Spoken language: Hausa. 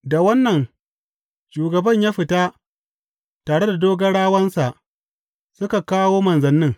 Da wannan, shugaban ya tafi tare da dogarawansa suka kawo manzannin.